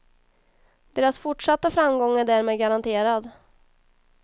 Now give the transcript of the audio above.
Deras fortsatta framgång är därmed garanterad.